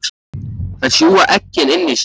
Þær sjúga eggin inn í sig.